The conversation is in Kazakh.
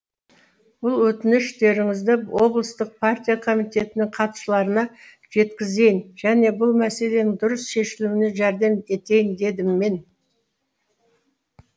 бұл өтініштеріңізді облыстық партия комитетінің хатшыларына жеткізейін және бұл мәселенің дұрыс шешілуіне жәрдем етейін дедім мен